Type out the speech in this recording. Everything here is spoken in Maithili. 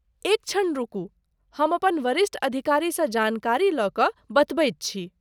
एक क्षण रुकू, हम अपन वरिष्ठ अधिकारीसँ जानकारी लऽ कऽ बतबैत छी।